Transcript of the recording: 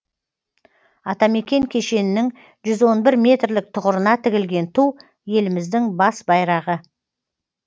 атамекен кешенінің жүз он бір метрлік тұғырына тігілген ту еліміздің бас байрағы